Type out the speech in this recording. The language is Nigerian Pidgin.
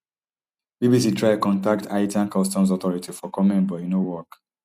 bbc try contact haitian customs authorities for comment but e no work